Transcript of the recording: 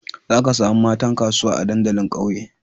Zaka samu matan kasuwa a dandalin ƙauye